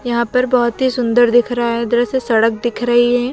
यहां पर बोहोत ही सुंदर दिख रहा है दृश्य सड़क दिख रही है।